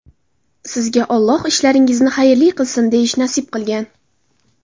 Sizga ‘Alloh ishlaringizni xayrli qilsin’, deyish nasib qilgan.